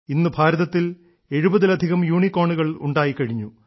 ഇന്ന് ഭാരതത്തിൽ എഴുപതിലധികം യൂണിക്കോണുകൾ ഉണ്ടായിക്കഴിഞ്ഞു